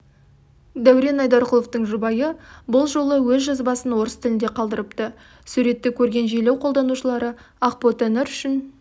дәурен айдарқұловтың жұбайы бұл жолы өз жазбасын орыс тілінде қалдырыпты суретті көрген желі қолданушылары ақботанұр үшін